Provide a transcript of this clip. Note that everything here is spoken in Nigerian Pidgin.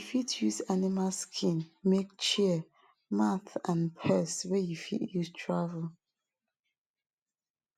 you fit use animal skin make chair mat and purse wey you fit use travel